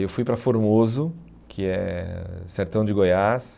Eu fui para Formoso, que é o sertão de Goiás.